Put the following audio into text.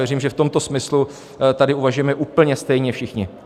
Věřím, že v tomto smyslu tady uvažujeme úplně stejně všichni.